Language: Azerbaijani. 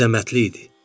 Bu əzəmətli idi.